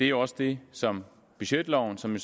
jo også det som budgetloven som